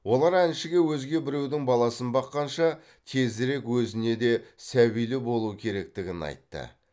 олар әншіге өзге біреудің баласын баққанша тезірек өзіне де сәбилі болу керектігін айтты